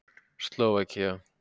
Slóvakía